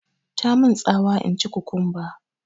Tamun tsawa in ci kukumba